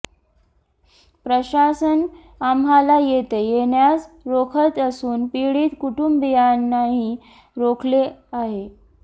प्रशासन आम्हाला येथे येण्यास रोखत असून पीडित कुटुंबियांनाही रोखले आहे